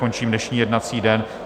Končím dnešní jednací den.